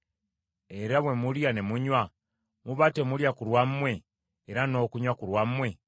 Era bwe mulya ne munywa, muba temulya ku lwammwe era n’okunywa ku lwammwe?